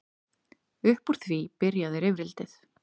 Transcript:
Upp úr því byrjaði rifrildið.